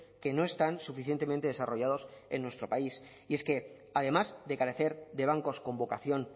que no están suficientemente desarrollados en nuestro país y es que además de carecer de bancos con vocación